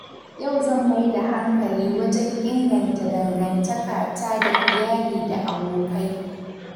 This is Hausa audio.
Yau zan mai da hankali wajen inganta dangantakata da iyali da abokai.